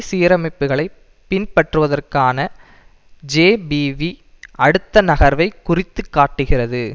சீரமைப்புகளை பின்பற்றுவதற்கான ஜேபிவி அடுத்த நகர்வை குறித்துக்காட்டுகிறது